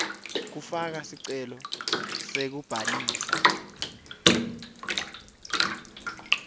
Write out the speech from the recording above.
kufaka sicelo sekubhalisa